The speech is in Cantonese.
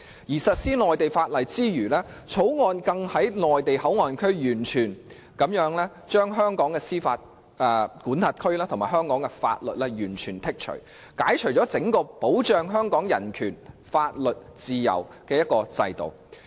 在實施內地法例之餘，更將口岸區的香港司法管轄權和香港法律完全剔除，並把整個保障香港人權、法律和自由的制度移除。